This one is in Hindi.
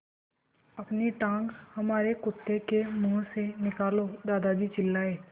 अपनी टाँग हमारे कुत्ते के मुँह से निकालो दादाजी चिल्लाए